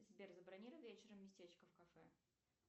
сбер забронируй вечером местечко в кафе